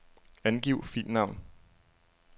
Angiv filnavn.